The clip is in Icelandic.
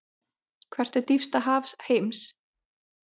Hvert er dýpsta haf heims?